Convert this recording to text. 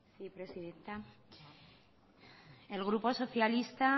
sí presidenta el grupo socialista